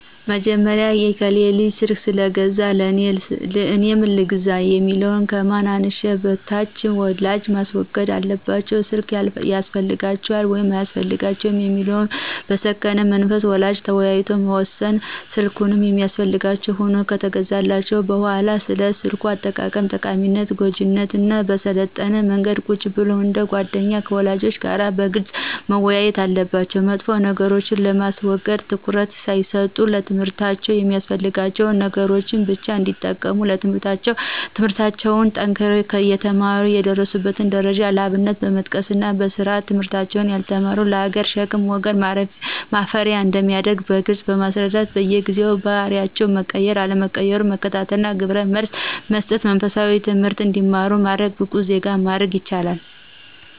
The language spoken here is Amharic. በመጀመሪያ የከሌ ልጅ ስልክ ስለገዛ እኔም ልግዛ የሚለውን ከማን አንሸ በሽታ ወላጆች ማስወገድ አለባቸው ስልክ ያስፈልጋቸዋል ወይስ አያስፈልጋቸውም የሚለውን በሰከነ መንፈስ ወላጆች ተወያይተው መወሰን ስልክ የሚያስፈልጋቸው ሁኖ ከተገዛላቸው በሁዋላ ስለ ስልክ አጠቃቀም ጠቃሚነትና ጎጅነት በሰለጠነ መንገድ ቁጭ ብለው እንደ ጎደኛ ከልጆች ጋር በግልጽ መወያየት አለባቸው መጥፎ ነገሮችን በማስረዳት ትኩረት ሳይሰጡ ለትምህርታቸው የሚያስፈልጋቸውን ነገሮች ብቻ እንዲጠቀሙ ትምለህርታቸውን ጠንክረው የተማሩ የደረሱበትን ደረጃ ለአብነት በመጥቀስና በስርአት ትምህርታቸውን ያልተማሩት ለሀገር ሸክም ለወገን ማፈሪያ አንደሚያደርግ በግልጽ ማስረዳት በየጊዜው ባህሪያቸው መቀየር አለመቀየሩን መከታተልና ግብረመልስ መሰጠትና መንፈሳዊ ትምህርት እንዲማሩ በማድረግ ብቁ ዜጋ ማድረግ ይችላሉ።